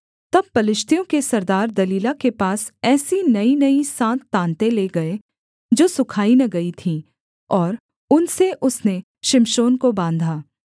तब पलिश्तियों के सरदार दलीला के पास ऐसी नईनई सात ताँतें ले गए जो सुखाई न गई थीं और उनसे उसने शिमशोन को बाँधा